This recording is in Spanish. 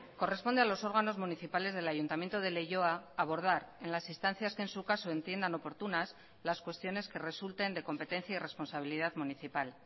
corresponde a los órganos municipales del ayuntamiento de leioa abordar en las instancias que en su caso entiendan oportunas las cuestiones que resulten de competencia y responsabilidad municipal